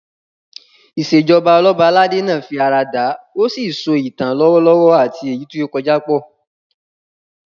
Ìṣèjoba Ọlọ́ba aládé náà fi ara dà, ó sì so ìtàn lọ́wọ́lọ́wọ́ àti èyí tó ti kọjá pọ̀